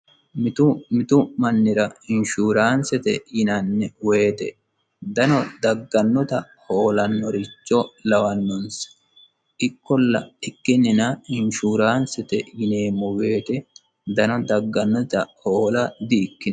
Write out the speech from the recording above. Mitu mitu mannira inshuuraansete yinanni woyite dano dagannota hoolannoricho lawanonsa. Ikkollana ikkinina inshuuraansete yineemmo woyite dano dagganota hoola di'ikkino.